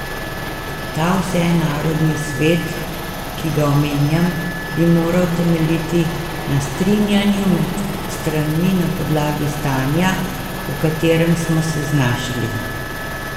Ta vsenarodni svet, ki ga omenjam, bi moral temeljiti na strinjanju med stranmi na podlagi stanja, v katerem smo se znašli.